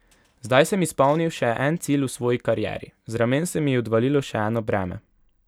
Zdaj sem izpolnil še en cilj v svoji karieri, z ramen se mi je odvalilo še eno breme.